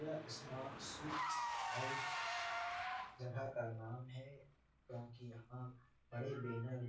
यह smart sweets house जगह का नाम है क्योंकि यहाँ बड़े बैनर --